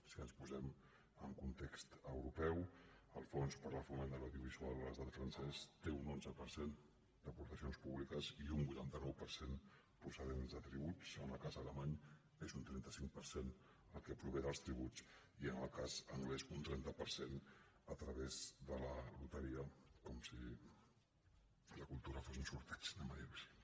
si ens posem en context europeu el fons per al foment de l’audiovisual a l’estat francès té un onze per cent d’aportacions públiques i un vuitanta nou per cent procedents de tributs en el cas alemany és un trenta cinc per cent el que prové dels tributs i en el cas anglès un trenta per cent a través de la loteria com si la cultura fos un sorteig diguem ho així